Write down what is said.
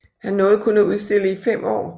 Han nåede kun at udstille i fem år